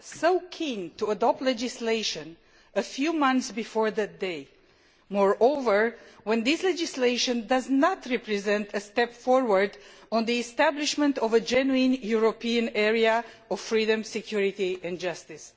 so keen to adopt legislation a few months before that date when, moreover, that legislation does not represent a step forward in establishing a genuine European area of freedom, security and justice?